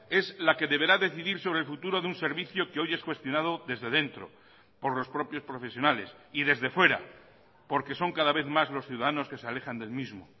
es la que deberá decidir sobre el futuro de un servicio que hoy es cuestionado desde dentro por los propios profesionales y desde fuera porque son cada vez más los ciudadanos que se alejan del mismo